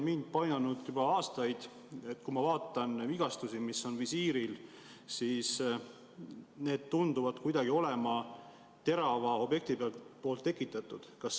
Mind on juba aastaid painanud, et kui ma vaatan vigastusi, mis on visiiril, siis need tunduvad kuidagi olevat terava objekti tekitatud.